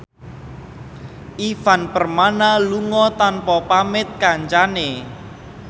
Ivan Permana lunga tanpa pamit kancane